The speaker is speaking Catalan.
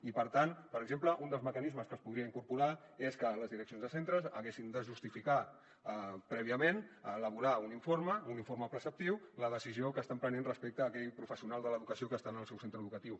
i per tant per exemple un dels mecanismes que es podrien incorporar és que les direccions de centres haguessin de justificar prèviament elaborar un informe preceptiu la decisió que estan prenent respecte a aquell professional de l’educació que està en el seu centre educatiu